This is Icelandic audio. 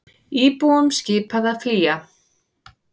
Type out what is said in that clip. Íbúum skipað að flýja